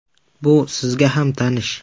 Bu sizga ham tanish.